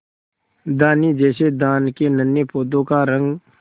धानी जैसे धान के नन्हे पौधों का रंग